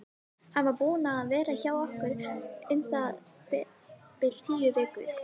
Hann var búinn að vera hjá okkur um það bil tíu vikur.